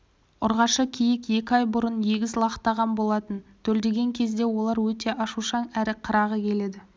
ұрғашы киік екі ай бұрын егіз лақтаған болатын төлдеген кезде олар өте ашушаң әрі қырағы келеді